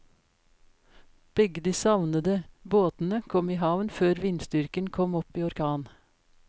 Begge de savnede båtene kom i havn før vindstyrken kom opp i orkan.